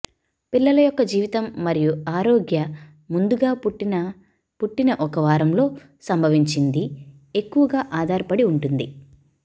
పిల్లల యొక్క జీవితం మరియు ఆరోగ్య ముందుగా పుట్టిన పుట్టిన ఒక వారం లో సంభవించింది ఎక్కువగా ఆధారపడి ఉంటుంది